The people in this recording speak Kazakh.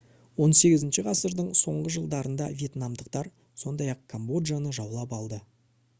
18 ғасырдың соңғы жылдарында вьетнамдықтар сондай-ақ камбоджаны жаулап алды